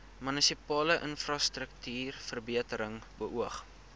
munisipale infrastruktuurverbetering beoog